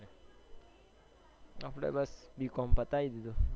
આપડે બસ b. com પતાવી દીધું